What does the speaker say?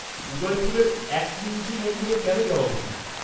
-উদয়পুরের একলিংজি মন্দিরে কেন যাওয়া উচিত?